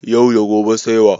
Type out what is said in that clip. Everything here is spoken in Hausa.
Yau da gobe sai wa?